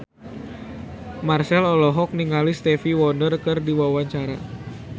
Marchell olohok ningali Stevie Wonder keur diwawancara